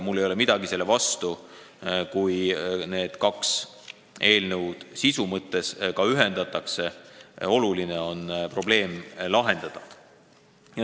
Mul ei ole midagi selle vastu, kui need kaks eelnõu sisulises mõttes ühendatakse, sest oluline on probleem lahendada.